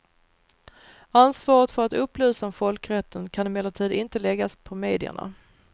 Ansvaret för att upplysa om folkrätten kan emellertid inte läggas på medierna.